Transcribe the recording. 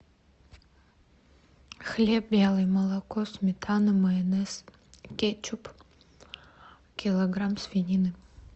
хлеб белый молоко сметана майонез кетчуп килограмм свинины